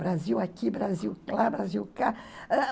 Brasil aqui, Brasil lá, Brasil cá. Ãh